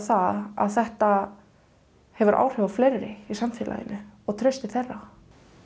að þetta hefur áhrif á fleiri í samfélaginu og traust til þeirra